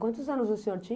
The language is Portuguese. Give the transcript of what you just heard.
Quantos anos o senhor tinha?